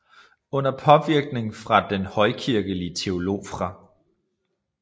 Under påvirkning fra den højkirkelige teolog Fr